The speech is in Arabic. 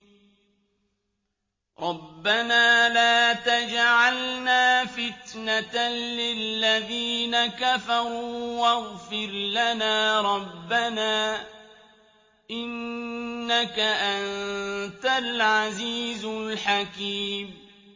رَبَّنَا لَا تَجْعَلْنَا فِتْنَةً لِّلَّذِينَ كَفَرُوا وَاغْفِرْ لَنَا رَبَّنَا ۖ إِنَّكَ أَنتَ الْعَزِيزُ الْحَكِيمُ